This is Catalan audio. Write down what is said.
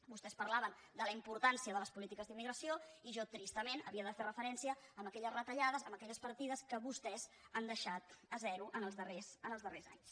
vostès parlaven de la importància de les polítiques d’immigració i jo tristament havia de fer referència a aquelles retallades a aquelles partides que vostès han deixat a zero en els darrers anys